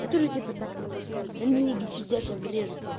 я тоже типа так могу сказать а ну иди сюда сейчас врежу тебе